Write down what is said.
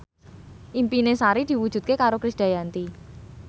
impine Sari diwujudke karo Krisdayanti